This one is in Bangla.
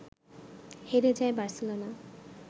হেরে যায় বার্সেলোনা